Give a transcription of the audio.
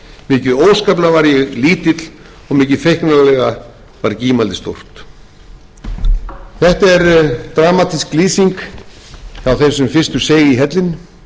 ég lítill og mikið feiknarlega var gímaldið stórt þetta er dramatísk lýsing hjá þeim sem fyrstur seig í hellinn